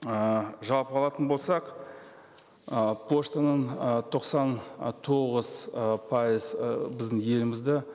ыыы жалпы алатын болсақ ы поштаның ы тоқсан ы тоғыз ы пайыз ы біздің елімізді